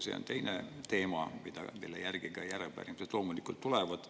See on teine teema, mille kohta ka loomulikult pärimised tulevad.